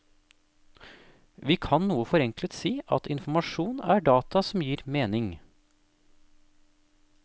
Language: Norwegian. Vi kan noe forenklet si at informasjon er data som gir mening.